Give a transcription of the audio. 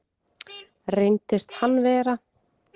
Reyndist hann vera